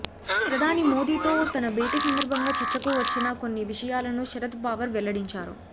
ప్రధాని మోదీతో తన భేటీ సందర్భంగా చర్చకు వచ్చిన కొన్ని విషయాలను శరద్ పవార్ వెల్లడించారు